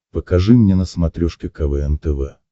покажи мне на смотрешке квн тв